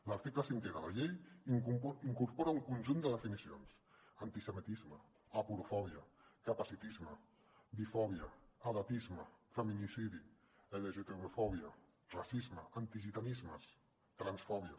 l’article cinquè de la llei incorpora un conjunt de definicions antisemitisme aporofòbia capacitisme bifòbia edatisme feminicidi lgtbifòbia racisme antigitanismes transfòbia